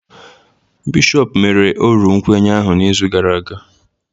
Bishọp mere ọrụ nkwenye ahụ n'izu gara aga